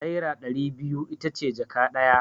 Naira ɗari biyu ita ce jaka ɗaya.